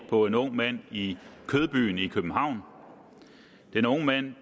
på en ung mand i kødbyen i københavn den unge mand